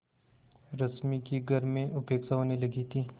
रश्मि की घर में उपेक्षा होने लगी थी